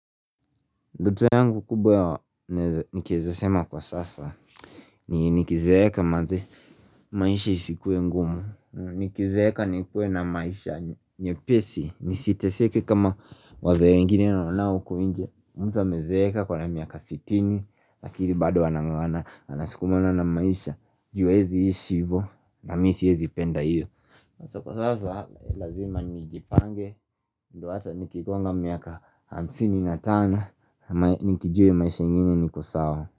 Ndoto yangu kubwa nikiezasema kwa sasa ni nikizeeka maisha isikue ngumu Nikizeeka nikue na maisha nyepesi nisiteseke kama waze wengine nawaona huku nje mtu amezeeka ako na miaka sitini lakini bado anang"ang'ana anasikumana na maisha juu hawezi ishi hivyo na mimi siwezipenda hiyo Kwa sasa lazima nijipange ndio hata nikigonga miaka hamsini na tano nikijua maisha ingine niko sawa.